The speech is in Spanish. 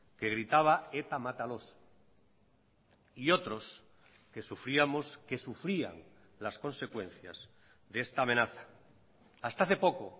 que gritaba eta mátalos y otros que sufríamos que sufrían las consecuencias de esta amenaza hasta hace poco